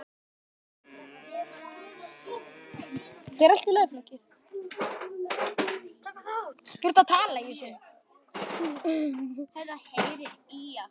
Hvaða félag er það?